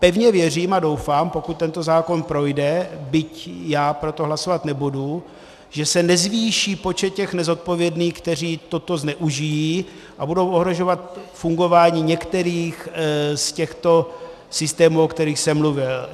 Pevně věřím a doufám, pokud tento zákon projde, byť já pro to hlasovat nebudu, že se nezvýší počet těch nezodpovědných, kteří toto zneužijí a budou ohrožovat fungování některých z těchto systémů, o kterých jsem mluvil.